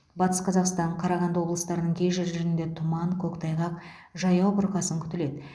батыс қазақстан қарағанды облыстарының кей жерлерінде тұман көктайғақ жаяу бұрқасын күтіледі